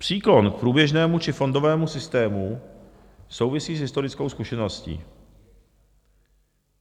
Příklon k průběžnému či fondovému systému souvisí s historickou zkušeností.